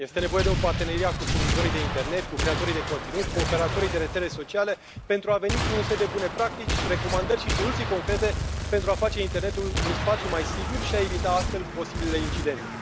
Este nevoie de un parteneriat cu furnizorii de internet, cu creatorii de conținut, cu operatorii de rețele sociale pentru a veni cu un set de bune practici, recomandări și soluții concrete pentru a face internetul un spațiu mai sigur și a evita astfel posibilele incidente.